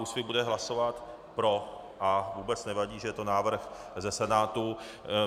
Úsvit bude hlasovat pro a vůbec nevadí, že je to návrh ze Senátu.